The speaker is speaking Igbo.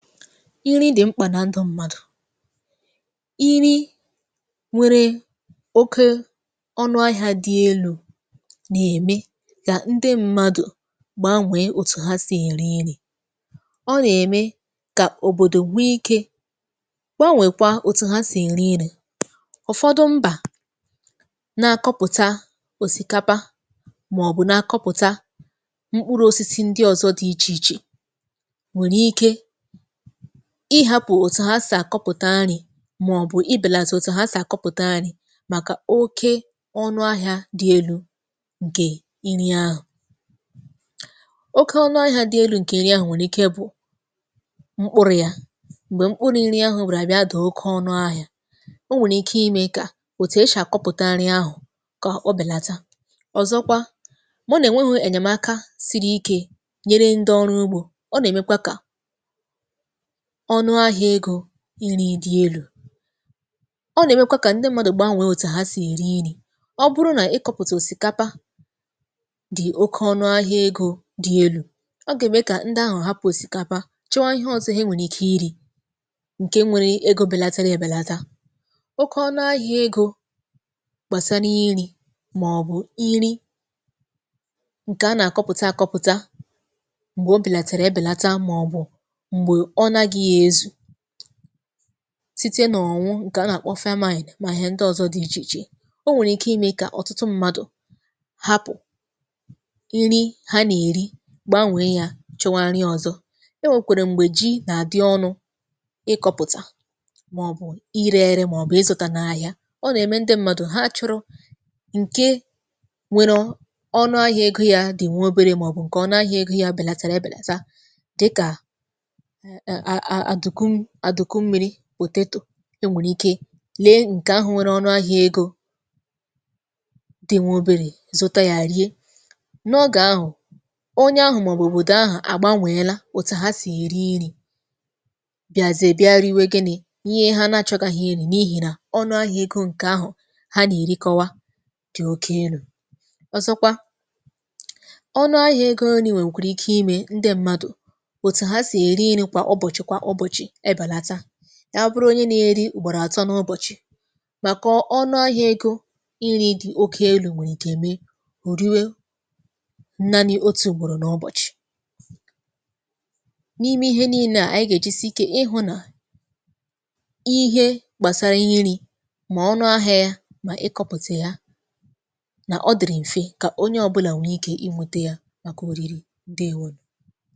Nri dị mkpa na ndụ mmadụ. Nri nwere oke ọnụ ahịa dị elu na-eme ka ndị mmadụ gbanwee otu ha si eri nri. Ọ na-eme ka obodo nwee ike gbanwekwaa etu ha si eri nri. Ụfọdụ mba na-akọpụta osikapa ma ọ bụ na-akọpụta mkpụrụ osisi ndị ọzọ dị iche iche nwere ike ịhapụ otu ha si akọpụta nri ma ọ bụ ịbelata otu ha si akọpụta nri maka oke ọnụ ahịa dị elu nke nri ahụ. Oke ọnụ ahịa dị elu nke nri ahụ nwere ike bụ mkpụrụ ya. Mgbe mkpụrụ nri ahụ bịara bịa daa oke ọnụ ahịa, o nwere ike ime ka etu e si akọpụta nri ahụ ka o belata. Ọzọkwa, ma ọ na enweghị enyemaka siri ike nyere ndị ọrụ ugbo, ọ na emekwa ka ọnụ ahịa ego nri dị elu. Ọ na-emekwa ka ndị mmadụ gbanwee etu ha si eri nri. Ọ bụrụ na ịkọpụta osikapa dị oke ọnụ ahịa ego dị elu, ọ ga-eme ka ndị ahụ hapụ osikapa chọwa ihe ọzọ e nwere ike iri, nke nwere ego belatara ebelata. Oke ọnụ ahịa ego gbasara nri ma ọ bụ nri nke a na-akọpụta akọpụta mgbe o belatara ebelata ma ọ bụ mgbe ọ naghị ezu site n’ụnwụ nke a na-akpọ femaine ma ihe ndị ọzọ dị iche iche. O nwere ike ime ka ọtụtụ mmadụ hapụ nri ha na-eri gbanwee ya chọwa nri ọzọ. E nwekwara mgbe ji na-adị ọnụ ịkọpụta ma ọ bụ ire ere ma ọ bụ ịzụta n’ahịa. Ọ na-eme ndị mmadụ ha achọrọ nke nwere ọnụ ahịa ego ya dị nwa obere ma ọ bụ nke ọnụ ahịa ego ya belatara ebelata, dịka aaa atukun atukummiri potatoe. E nwere ike lee nke ahụ nwere ọnụ ahịa ego dị nwa obere zụta ya rie. N’oge ahụ, onye ahụ ma ọ bụ obodo ahụ agbanweela otu ha si eri nri, bịazie bịa riwe gini? ihe ha na-achọgahụ iri n’ihi n ọnụ ahịa ego nke ahụ ha na-erikọwa, dị oke enu. Ọzọkwa, ọnụ ahịa ego nri nwekwara ike ime ndị mmadụ, etu ha si eri nri kwa ụbọchị kwa ụbọchị ebelata, ya bụrụ onye na-eri ugboro atọ n’ụbọchị, maka ọnụ ahịa ego nri oke elu nwere ike mee, o riwe nanị otu ugboro n’ụbọchị. N’ime ihe niile a, anyị ga-ejisie ike ịhụ na ihe gbasara ihe nri ma ọnụ ahịa ya ma ịkọpụta ya na ọ dịrị mfe ka onye ọbụla nwere ike inwete ye maka oriri. Ndewo nu.